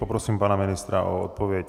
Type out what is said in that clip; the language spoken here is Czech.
Poprosím pana ministra o odpověď.